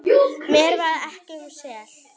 Mér varð ekki um sel.